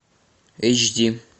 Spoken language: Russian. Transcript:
эйч ди